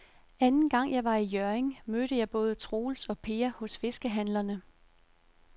Anden gang jeg var i Hjørring, mødte jeg både Troels og Per hos fiskehandlerne.